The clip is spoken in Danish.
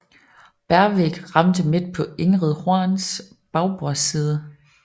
Bergvik ramte midt på Ingrid Horns bagbordsside